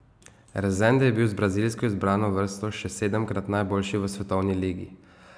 Rezende je bil z brazilsko izbrano vrsto še sedemkrat najboljši v svetovni ligi.